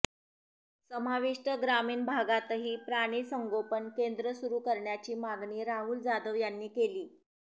समाविष्ट ग्रामीण भागातही प्राणी संगोपन केंद्र सुरू करण्याची मागणी राहुल जाधव यांनी केली